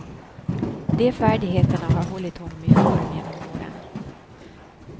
De färdigheterna har hållit honom i form genom åren.